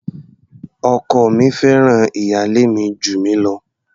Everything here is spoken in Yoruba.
Ọkọ mi fẹ́ràn ìyálé mi jù mí lọ.